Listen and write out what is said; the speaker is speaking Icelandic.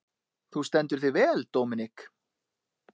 Þú stendur þig vel, Dominik!